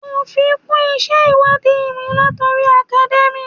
Mo fi kún isẹ ìwádìí mi latori academia.